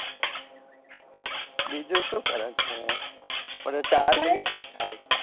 બીજું શું કરે છે અરે ચાર minute જ થાય